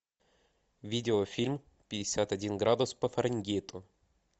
видеофильм пятьдесят один градус по фаренгейту